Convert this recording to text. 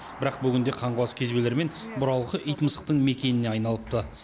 бірақ бүгінде қаңғыбас кезбелер мен бұралқы ит мысықтың мекеніне айналыпты